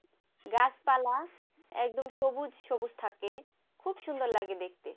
গাছপালা একদম সবুজ সবুজ থাকে খুব সুন্দর লাগে দেখতে